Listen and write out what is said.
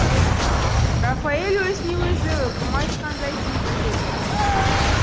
рафаэль өзіне өзі үкім айтқандай сезіледі